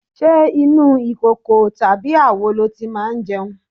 Ṣé inú ìkòkò tàbí àwo lo ti máa jẹun?